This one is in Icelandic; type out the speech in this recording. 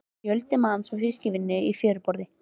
Fjöldi manns var við fiskvinnu í fjöruborðinu.